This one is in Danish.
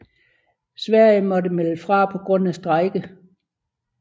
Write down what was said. Sverige måtte melde fra på grund af strejke